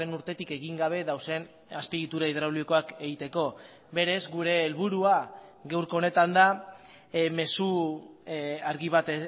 urtetik egin gabe dauden azpiegitura hidraulikoak egiteko berez gure helburua gaurko honetan da mezu argi bat